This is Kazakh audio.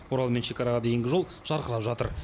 орал мен шекараға дейінгі жол жарқырап жатыр